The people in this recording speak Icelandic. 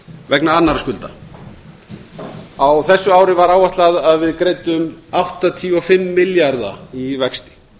vegna annarra skulda á þessu ári var áætlað að við greiddum áttatíu og fimm milljarða í vexti